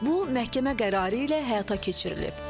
Bu məhkəmə qərarı ilə həyata keçirilib.